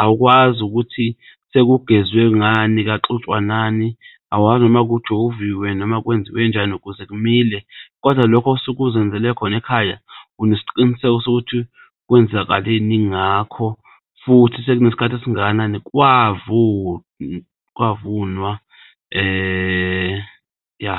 awukwazi ukuthi sekugeziwe ngani, kwaxutshwa nani awazi noma kujoviwe noma kwenziwe njani ukuze kumile kodwa lokho osuke uzenzele khona ekhaya unesiqiniseko sokuthi ukuthi kwenzakaleni ngakho futhi sekunesikhathi esingakanani kwavunwa ya.